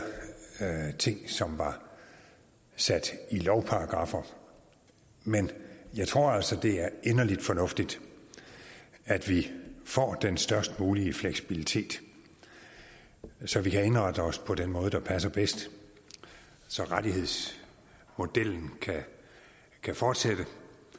ting som var sat i lovparagraffer men jeg tror altså det er inderligt fornuftigt at vi får den størst mulige fleksibilitet så vi kan indrette os på den måde der passer bedst så rettighedsmodellen kan fortsætte